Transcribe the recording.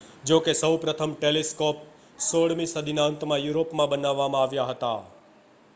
જો કે સૌ પ્રથમ ટેલીસ્કોપ્સ 16મી સદીના અંતમાં યુરોપમાં બનાવવામાં આવ્યા હતા